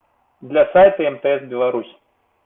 для сайта мтс беларусь